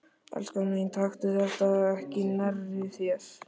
Elskan mín, taktu þetta ekki nærri þér.